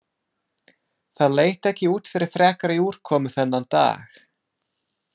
Það leit ekki út fyrir frekari úrkomu þennan dag.